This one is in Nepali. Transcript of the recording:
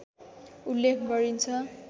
उल्लेख गरिन्छ